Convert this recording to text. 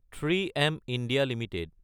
৩ম India Ltd